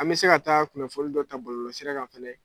An bɛ se ka taa kunnafoli dɔ ta bɔlɔlɔsira kan fɛnɛ.